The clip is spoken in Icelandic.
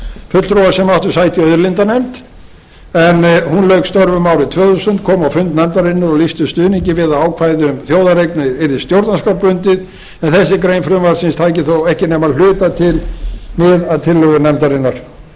fulltrúar sem áttu sæti í auðlindanefnd en hún lauk störfum árið tvö þúsund komu á fund nefndarinnar og lýsti stuðningi við að ákvæðið um þjóðareign yrði stjórnarskrárbundið en þessi grein frumvarpsins tæki þó ekki nema að hluta til mið af tillögu nefndarinnar